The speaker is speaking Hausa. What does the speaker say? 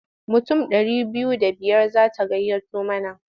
Mutum ɗari biyu da biyar za ta gayyato mana.